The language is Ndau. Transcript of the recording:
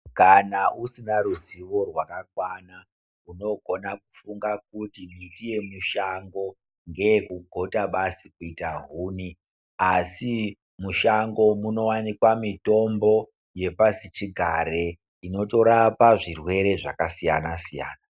Kana usina ruzivo rwakakwana unogona kufunga kuti miti yemushango ngeye kugota basi kuita huni. Asi mushango munovanikwa mitombo yepasi chigare inotorapa zvirwere zvakasiyana- siyana.